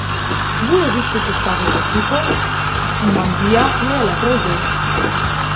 Vujović je sestavil ekipo, Ivandija jo je le prevzel.